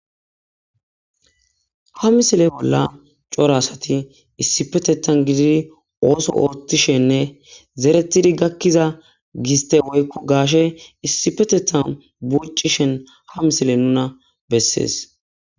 Ha misile bolla cora asati issipetetan gididi ooso oottishenne zeretidi gakkiza giste woykko gaashe issipetethan buccishen ha misile nuna bessees